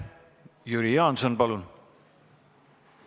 Jüri Jaanson, palun!